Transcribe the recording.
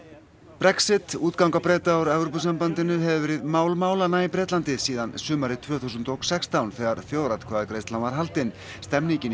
Brexit útganga Breta úr Evrópusambandinu hefur verið mál málanna í Bretlandi síðan sumarið tvö þúsund og sextán þegar þjóðaratkvæðagreiðslan var haldin stemningin í